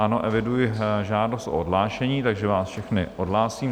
Ano, eviduji žádost o odhlášení, takže vás všechny odhlásím.